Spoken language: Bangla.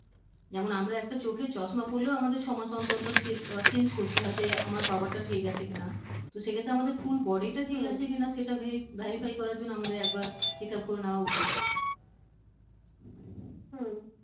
যেমন আমরা একটা চোখে চশমা পড়লেও আমাদের ছয় মাস অন্তর অন্তর চে উম change করতে হয় যে আমার power টা ঠিক আছে কিনা তো সেক্ষেত্রে আমাদের full body টা ঠিক হম আছে কিনা সেটা ভেরি verify করার জন্য আমাদের একবার check up করে নেওয়া উচিত হম